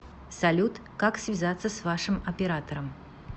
салют как связаться с вашим оператором